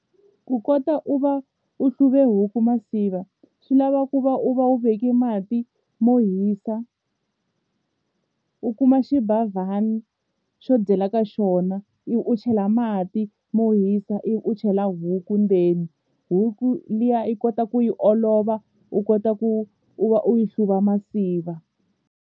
Ku kota u va u hluve huku masiva swi lava ku va u va u veke mati mo hisa u kuma xibavhana xo dyela ka xona ivi u chela mati mo hisa ivi u chela huku ndzeni huku liya yi kota ku yi olova u kota ku u va u yi hluva masiva.